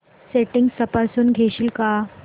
settings तपासून घेशील का